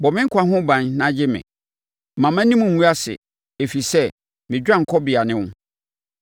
Bɔ me nkwa ho ban na gye me. Mma mʼanim ngu ase, ɛfiri sɛ me dwanekɔbea ne wo.